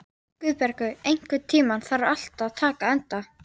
Guðbergur, einhvern tímann þarf allt að taka enda.